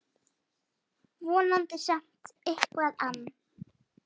Vonandi samt eitthvað ann